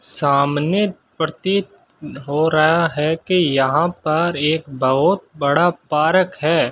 सामने प्रतीत हो रहा है कि यहां पर एक बहोत बड़ा पारक है।